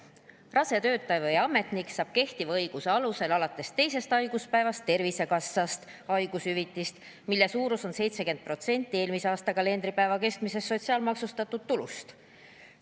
Rase töötaja või ametnik saab kehtiva õiguse alusel alates teisest haiguspäevast Tervisekassast haigushüvitist, mille suurus on 70% eelmise aasta kalendripäeva keskmisest sotsiaalmaksustatud tulust.